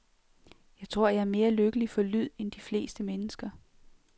Jeg tror, jeg er mere lykkelig for lyd end de fleste mennesker.